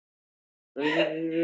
Hvernig gat ég verið svona vitlaus?